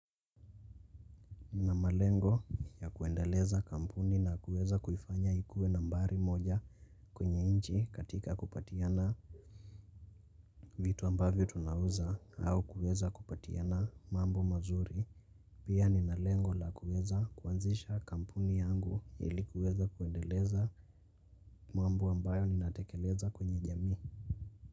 Na malengo ya kuendeleza kampuni na kuweza kuifanya ikue nambari moja kwenye inchi katika kupatiana vitu ambavyo tunauza au kuweza kupatiana mambo mazuri. Pia ninalengo la kuweza kuanzisha kampuni yangu ilikuweza kuendeleza mambo ambayo ninatekeleza kwenye jamii.